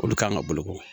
Olu kan ka boloko